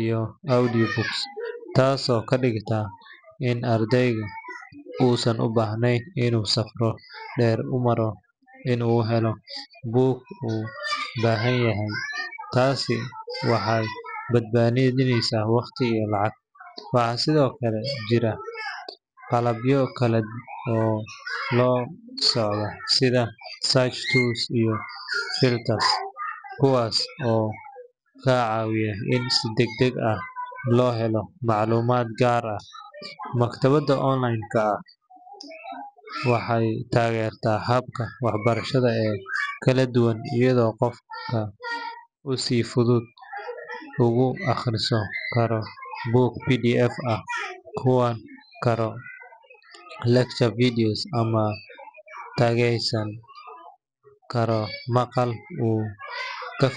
iyo audiobooks, taasoo ka dhigan in ardaygu uusan u baahnayn inuu safar dheer u maro si uu u helo buug uu u baahan yahay. Taasi waxay badbaadineysaa waqti iyo lacag. Waxaa sidoo kale jira qalabyo kale oo la socda sida search tools iyo filters kuwaas oo ka caawiya in si degdeg ah loo helo macluumaad gaar ah. Maktabadda online ah waxay taageertaa hababka waxbarashada ee kala duwan, iyadoo qofka uu si fudud ugu akhrisan karo buugta PDF ah, daawan karo lecture videos, ama dhageysan karo maqal uu ka.